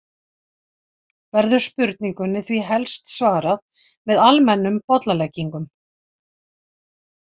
Verður spurningunni því helst svarað með almennum bollaleggingum.